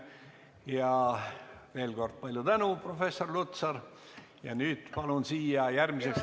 Ja veel kord: palju tänu, professor Lutsar!